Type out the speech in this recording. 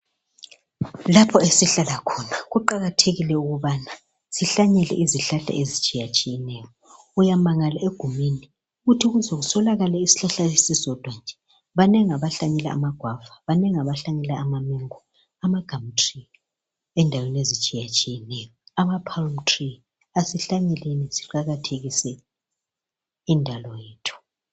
Lapho esihlalakhona kuqakathekile ukubana sihlale silezihlahla ezitshiyatshiyeneyo. Uyamangala egumeni ukuthi kuze kuswelakale isihlahla esisodwa nje, banengi abahlanyela amagwava banengi abahlanyela amamengo, amagum tree endaweni ezitshiyatshiyeneyo. Amapalm tree, asihlanyeleni siqakathekise indalo yethu.